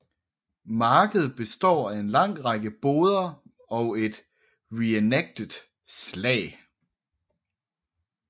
Markedet består af en lang række boder og et reenactet slag